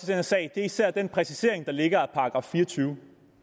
her sag er især den præcisering der ligger af § fire og tyve